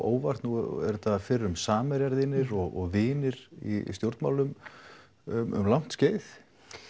óvart nú eru þetta fyrrum samherjar þínir og vinir í stjórnmálum um langt skeið